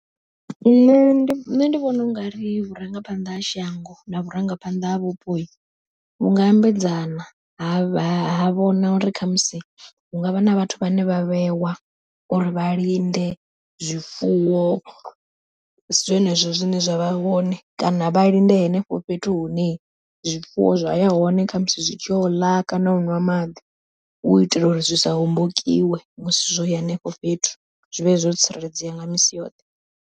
Nṋe ndi nṋe ndi vhona u nga ri vhurangaphanḓa ha shango na vhurangaphanḓa ha vhupo vhunga ambedzana, ha vhona uri khamusi hu ngavha na vhathu vhane vha vhewa uri vha linde zwifuwo, zwenezwo zwine zwavha hone kana vha linde henefho fhethu hune zwifuwo zwa ya hone khamusi zwi tshi yo ḽa kana u ṅwa maḓi u itela uri zwi sa hombokiwe musi zwo ya henefho fhethu zwivhe zwo tsireledzea nga misi yoṱhe.